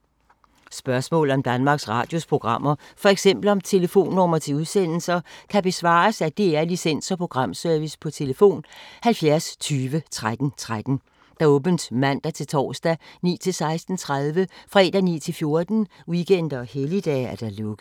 Spørgsmål om Danmarks Radios programmer, f.eks. om telefonnumre til udsendelser, kan besvares af DR Licens- og Programservice: tlf. 70 20 13 13, åbent mandag-torsdag 9.00-16.30, fredag 9.00-14.00, weekender og helligdage: lukket.